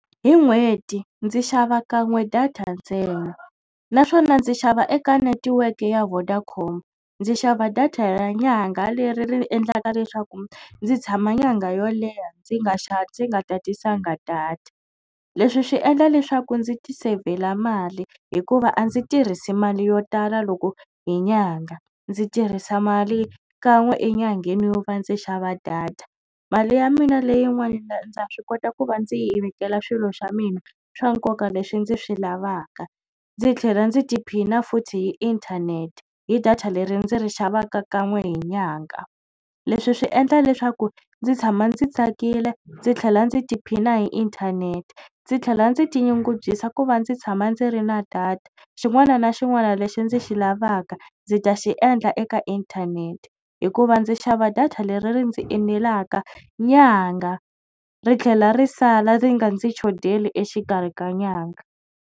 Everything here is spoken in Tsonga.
Hi n'hweti ndzi xava kan'we data ntsena naswona ndzi xava eka netiweke ya Vodacom ndzi xava data ya nyanga leri ri endlaka leswaku ndzi tshama nyanga yo leha ndzi nga ndzi nga tatisanga data leswi swi endla leswaku ndzi ti sevhela mali hikuva a ndzi tirhisi mali yo tala loko hi nyanga ndzi tirhisa mali kan'we enyangheni yo va ndzi xava data mali ya mina leyin'wana ndza swi kota ku va ndzi yi vekela swilo swa mina swa nkoka leswi ndzi swi lavaka ndzi tlhela ndzi tiphina futhi hi inthanete hi data leri ndzi ri xavaka kan'we hi nyanga leswi swi endla leswaku ndzi tshama ndzi tsakile ndzi tlhela ndzi tiphina hi inthanete ndzi tlhela ndzi tinyungubyisa ku va ndzi tshama ndzi ri na data xin'wana na xin'wana lexi ndzi xi lavaka ndzi ta xi endla eka inthanete hikuva ndzi xava data leri ri ndzi enelaka nyanga ri tlhela ri sala ri nga ndzi chodeli exikarhi ka nyanga.